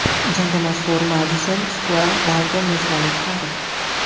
Jangga mashhur Madison Square Garden mezbonlik qiladi.